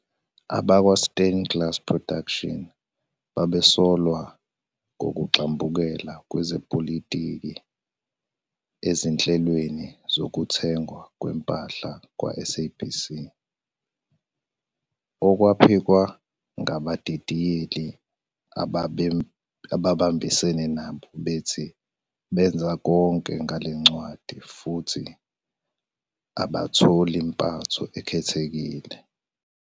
AbakwaStain Glass Productions babesolwa ngokugxambukela kwezepolitiki ezinhlelweni zokuthengwa kwempahla kwaSABC, okwaphikwa ngabadidiyeli ababambisene nabo, bethi "benza konke ngale ncwadi" futhi abatholi "mpatho ekhethekile".